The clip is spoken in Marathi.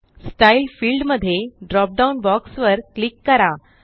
स्टाईल फिल्ड मध्ये ड्रॉप डाउन बॉक्स वर क्लिक करा